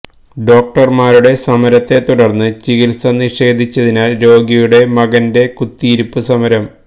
ഡോക്ടര്മാരുടെ സമരത്തെ തുടര്ന്ന് ചികിത്സ നിഷേധിച്ചതിനാല് രോഗിയുടെ മകന്റെ കുത്തിയിരുപ്പ് സമരം